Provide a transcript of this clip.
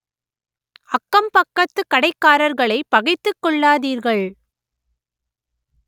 அக்கம் பக்கத்து கடைக்காரர்களைப் பகைத்துக் கொள்ளாதீர்கள்